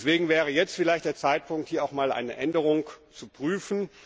Deswegen wäre jetzt vielleicht der Zeitpunkt, hier eine Änderung zu prüfen.